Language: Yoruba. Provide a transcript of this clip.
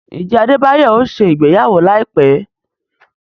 Njẹ Adebayo ọ ṣe ìgbéyàwó laipẹ?